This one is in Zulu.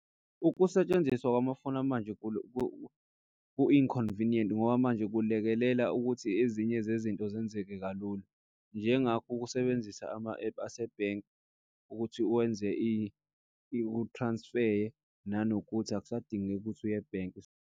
Ukusetshenziswa wamafoni manje ku-inconvenient ngoba manje kulekelela ukuthi ezinye zezinto zenzeke kalula. Njengakho ukusebenzisa ama-app asebhenki ukuthi wenze uthransifeye, nanokuthi akusadingeki ukuthi uye ebhenki.